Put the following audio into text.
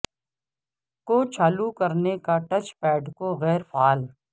کو چالو کرنے اور ٹچ پیڈ کو غیر فعال